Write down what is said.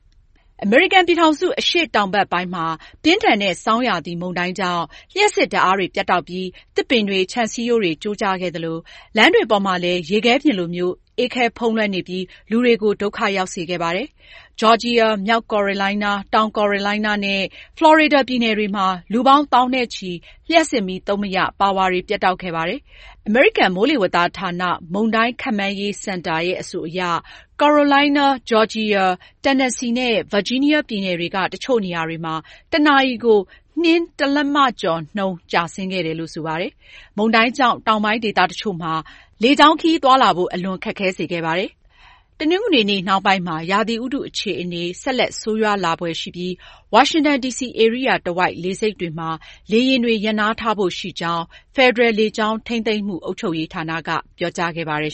အမေရိကန်ပြည်ထောင်စု အရှေ့တောင်ဘက်ပိုင်းမှာ ပြင်းထန်တဲ့ ဆောင်းရာသီမုန်တိုင်းကြောင့် လျှပ်စစ်ဓာတ်အားတွေ ပြတ်တောက်ပြီး သစ်ပင်တွေ၊ ခြံစည်းရုံးတွေ ကျိုးကျခဲ့သလို လမ်းတွေပေါ်မှာလည်း ရေခဲပြင်လိုမျိုး အေးခဲဖုံးလွှမ်းနေပြီး လူတွေကို ဒုက္ခရောက်စေခဲ့ပါတယ်။ ဂျော်ဂျီယာ၊ မြောက်ကယ်ရိုလိုင်းနား၊ တောင်ကယ်ရိုလိုင်းနားနဲ့ ဖလော်ရီဒါပြည်နယ်တွေမှာ လူပေါင်း သောင်းနဲ့ချီ လျှပ်စစ်မီးသုံးမရ ပါဝါတွေ ပြတ်တောက်ခဲ့တာပါ။ အမေရိကန် မိုးလေဝသဌာန မုန်တိုင်းခန့်မှန်းရေးစင်တာ အဆိုအရ ကယ်ရိုလိုင်းနား၊ ဂျော်ဂျီယာ၊ တန်နက်ဆီနဲ့ ဗာဂျီးနီးယားပြည်နယ်တွေက တချို့နေရာတွေမှာ တနာရီကို နှင်းတလက်မကျော်နှုန်း ကျဆင်းခဲ့ပါတယ်။ မုန်တိုင်းကြောင့် တောင်ပိုင်းဒေသတချို့မှာ လေကြောင်းခရီးသွားလာဖို့ အလွန်ခက်ခဲစေခဲ့ပါတယ်။ တနင်္ဂနွေနှောင်းပိုင်းမှာ ရာသီဥတုအခြေအနေ ဆက်လက်ဆိုးရွားလာဖွယ်ရှိပြီး ဝါရှင်တန်ဒီစီဧရိယာတဝိုက် လေဆိပ်တွေမှာ လေယာဉ်တွေ ရပ်နားထားဖို့ရှိကြောင်း ဖက်ဒရယ်လေကြောင်းထိန်းသိမ်းမှု အုပ်ချုပ်ရေးဌာနက ပြောကြားခဲ့ပါတယ်